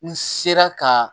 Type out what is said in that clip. N sela ka